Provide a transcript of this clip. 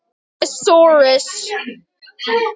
Er enn og verður alltaf.